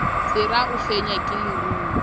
sera a fenywa ke lerumo